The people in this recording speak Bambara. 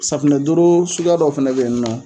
Safinɛdoro suguya dɔ fɛnɛ be yen nɔn